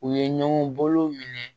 U ye ɲɔgɔn bolow minɛ